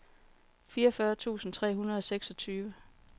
fireogfyrre tusind tre hundrede og seksogtyve